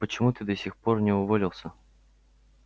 почему ты до сих пор не уволился